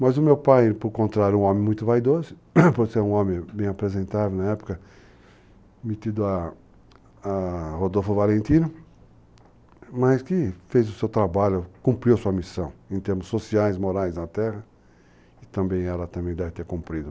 Mas o meu pai, por contrário, um homem muito vaidoso, por ser um homem bem apresentável na época, metido a Rodolfo Valentino, mas que fez o seu trabalho, cumpriu a sua missão, em termos sociais, morais, na terra, e também ela deve ter cumprido.